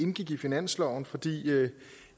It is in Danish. indgik i finansloven fordi